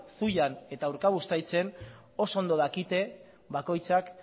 zuian eta bai urkabustaizen oso ondo dakite bakoitzak